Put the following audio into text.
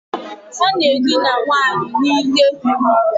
Ọ na-edina nwaanyị n'ike.